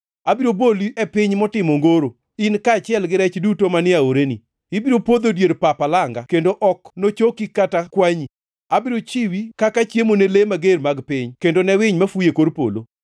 Abiro boli e piny motimo ongoro, in kaachiel gi rech duto manie aoreni. Ibiro podho e dier pap alanga kendo ok nochoki kata kwanyi. Abiro chiwi kaka chiemo ne le mager mag piny kendo ne winy mafuyo e kor polo.